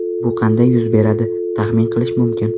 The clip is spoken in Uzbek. Bu qanday yuz beradi, taxmin qilish mumkin.